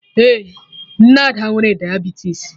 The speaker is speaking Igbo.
Ee, nne Ada nwere diabetisi